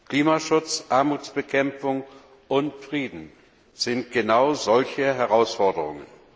Klimaschutz, Armutsbekämpfung und Frieden sind genau solche Herausforderungen.